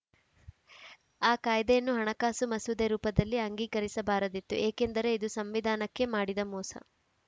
ಆ ಕಾಯ್ದೆಯನ್ನು ಹಣಕಾಸು ಮಸೂದೆ ರೂಪದಲ್ಲಿ ಅಂಗೀಕರಿಸಬಾರದಿತ್ತು ಏಕೆಂದರೆ ಇದು ಸಂವಿಧಾನಕ್ಕೇ ಮಾಡಿದ ಮೋಸ